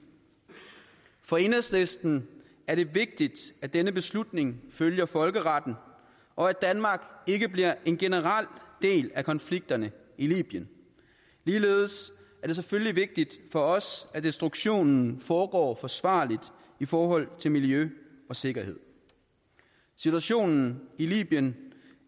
for enhedslisten er det vigtigt at denne beslutning følger folkeretten og at danmark ikke bliver en generel del af konflikterne i libyen ligeledes er det selvfølgelig vigtigt for os at destruktionen foregår forsvarligt i forhold til miljø og sikkerhed situationen i libyen